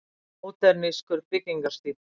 Módernískur byggingarstíll.